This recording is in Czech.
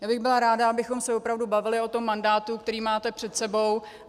Já bych byla ráda, abychom se opravdu bavili o tom mandátu, který máte před sebou.